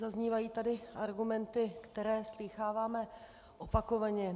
Zaznívají tady argumenty, které slýcháváme opakovaně.